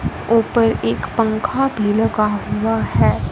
ऊपर एक पंखा भी लगा हुआ है।